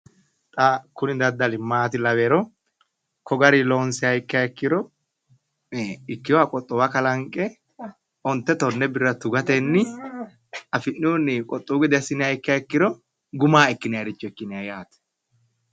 Kuni daddali maati lawihero, ko garinni loonssiha ikkiha ikkiro, ikkinoha qoxowa kalanqqe ontte tonne birra tugatenni, af'nihunni qoxowu gede assiniha ikkiha ikkiro gumaho ikkinayiiricho ikkinayi yaate.